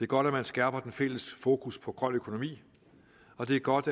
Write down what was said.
godt at man skærper den fælles fokus på grøn økonomi og det er godt